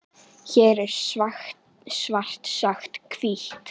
Hér er svart sagt hvítt.